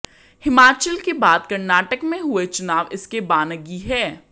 हिमाचल के बाद कर्नाटक में हुए चुनाव इसकी बानगी है